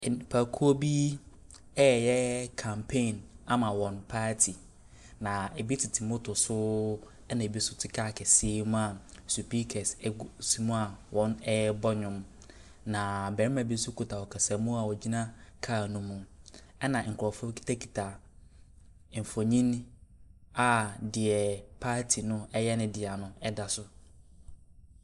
Nnipakuo bi reyɛ campaign ama wɔn party. Na ebi tete motor so ɛna ebi nso te car kɛseɛ mu a speakers egu mua a wɔrebɔ nnwom. Na barima bi nso kuta kasamuu a ɔgyina car no mu, ɛna nkorɔfoɔ kutakuta nfonni a deɛ party no yɛ no dea no ɛda so.